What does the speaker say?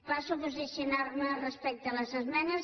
passo a posicionar me respecte a les esmenes